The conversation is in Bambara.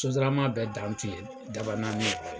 Sotarama bɛɛ dan tun ye daban naani ye!